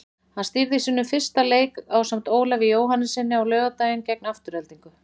Hann stýrði sínum fyrsta leik ásamt Ólafi Jóhannessyni á laugardaginn gegn Aftureldingu.